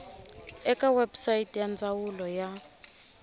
eka website ya ndzawulo ya